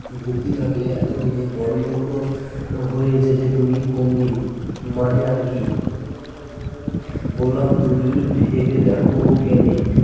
বুদ্ধি থাকলে এতদিনে বড়ো লোক হয়ে যেতে তুমি কোনদিন মানে আরকি বললাম তুমি ভেবে দেখ কেনে